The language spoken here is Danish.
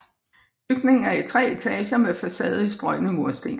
Bygningen er i tre etager med facade i strøgne mursten